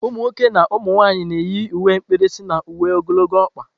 Umunwoke na umunwanyị na-eyi uwe mkpirisi na uwe ogologo ọkpa.